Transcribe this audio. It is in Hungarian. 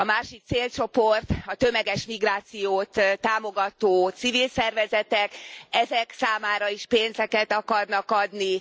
A másik célcsoport a tömeges migrációt támogató civil szervezetek, ezek számára is pénzeket akarnak adni.